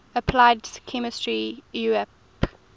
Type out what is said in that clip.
applied chemistry iupac